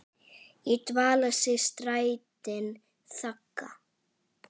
í dvala sig strætin þagga.